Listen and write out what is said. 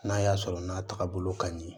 N'a y'a sɔrɔ n'a taagabolo ka ɲi